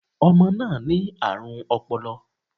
Ọmọ náà ní àrùn ọpọlọ